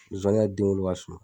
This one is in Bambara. Zonwani ka denwolo ka suma.